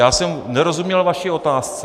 Já jsem nerozuměl vaší otázce.